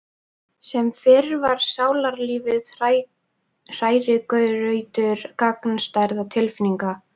Sem fyrr var sálarlífið hrærigrautur gagnstæðra tilfinninga.